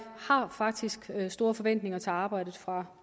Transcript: faktisk store forventninger til arbejdet fra